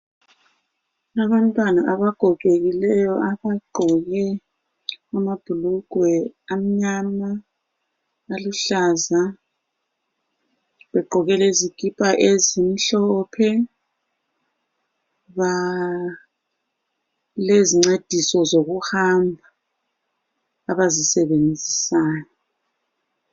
Abantwana abagogekileyo abagqoke amabhulugwe amnyama, aluhlaza begqoke lezikipa ezimhlophe lezincediso zokuhamba abazisebenzisayo.